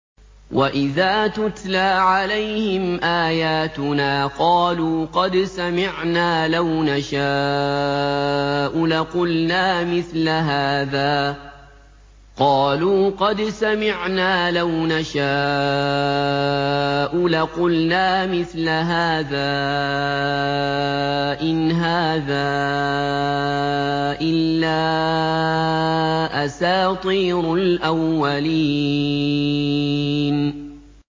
وَإِذَا تُتْلَىٰ عَلَيْهِمْ آيَاتُنَا قَالُوا قَدْ سَمِعْنَا لَوْ نَشَاءُ لَقُلْنَا مِثْلَ هَٰذَا ۙ إِنْ هَٰذَا إِلَّا أَسَاطِيرُ الْأَوَّلِينَ